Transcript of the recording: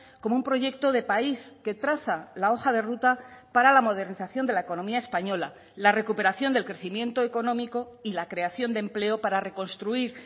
como un proyecto de país que traza la hoja de ruta para la modernización de la economía española la recuperación del crecimiento económico y la creación de empleo para reconstruir